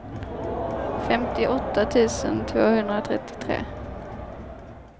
femtioåtta tusen tvåhundratrettiotre